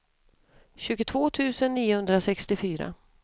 tjugotvå tusen niohundrasextiofyra